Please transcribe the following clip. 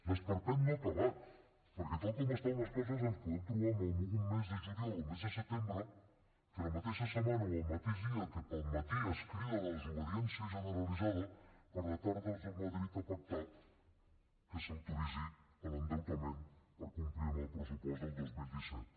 l’esperpent no ha acabat perquè tal com estan les coses ens podem trobar amb un mes de juliol o mes de setembre en què la mateixa setmana o el mateix dia que al matí es crida a la desobediència generalitzada a la tarda es va a madrid a pactar que s’autoritzi l’endeutament per complir amb el pressupost del dos mil disset